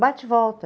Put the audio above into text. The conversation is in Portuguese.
Bate e volta.